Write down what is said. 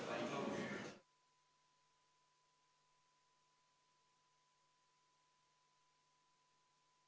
Istungi lõpp kell 17.01.